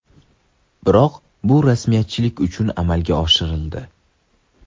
Biroq bu rasmiyatchilik uchun amalga oshirildi.